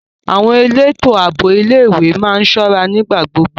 Àwọn elétò ààbò ilé ìwé má ń ṣọ́ra nígbà gbogbo.